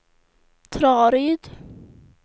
Traryd